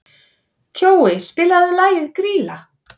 Kjói, spilaðu lagið „Grýla“.